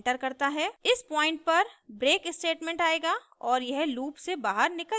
इस पॉइंट पर break statement आएगा और यह लूप से बहार निकल जायेगा